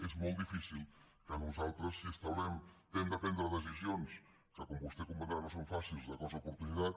és molt difícil que nosaltres si hem de prendre decisions que com vostè comprendrà no són fàcils de cost d’oportunitat